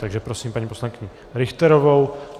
Čili prosím paní poslankyni Richterovou.